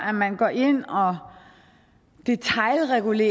at man går ind og detailregulerer